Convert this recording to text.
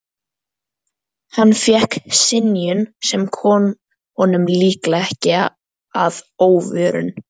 Hann fékk synjun, sem kom honum líklega ekki að óvörum.